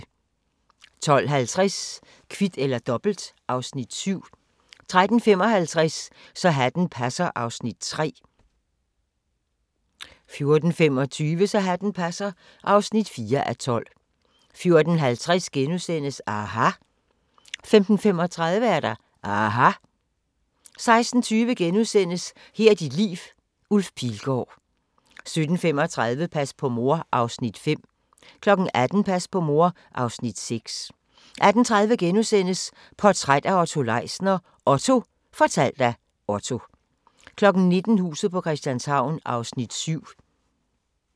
12:50: Kvit eller Dobbelt (Afs. 7) 13:55: Så hatten passer (3:12) 14:25: Så hatten passer (4:12) 14:50: aHA! * 15:35: aHA! 16:20: Her er dit liv – Ulf Pilgaard * 17:35: Pas på mor (Afs. 5) 18:00: Pas på mor (Afs. 6) 18:30: Portræt af Otto Leisner: OTTO - fortalt af Otto * 19:00: Huset på Christianshavn (7:84)